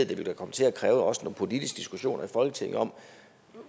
det vil komme til at kræve også nogle politiske diskussioner i folketinget om